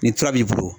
Ni tura b'i bolo